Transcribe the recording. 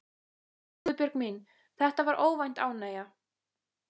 Guðbjörg mín, þetta var óvænt ánægja.